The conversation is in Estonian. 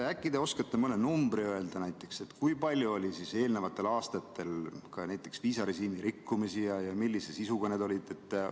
Äkki te oskate mõne numbri öelda, näiteks kui palju oli eelnevatel aastatel viisarežiimi rikkumisi ja millise sisuga need olid?